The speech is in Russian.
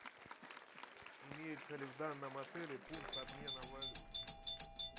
имеется ли в данном отеле пункт обмена валют